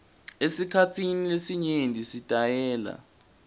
esikhatsini lesinyenti sitayela